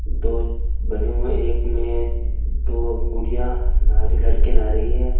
दो बने हुए है एक में दो गुड़िया नारे लड़के नहा रही है।